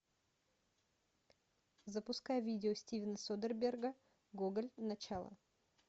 запускай видео стивена содерберга гоголь начало